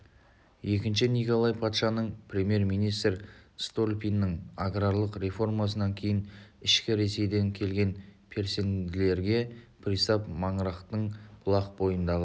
екінші николай патшаның премьер-министрі столыпиннің аграрлық реформасынан кейін ішкі ресейден келген переселендерге пристав маңырақтың бұлақ бойындағы